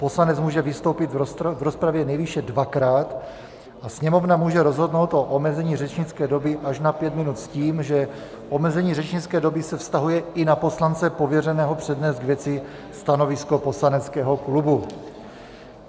Poslanec může vystoupit v rozpravě nejvýše dvakrát a Sněmovna může rozhodnout o omezení řečnické doby až na pět minut s tím, že omezení řečnické doby se vztahuje i na poslance pověřeného přednést k věci stanovisko poslaneckého klubu.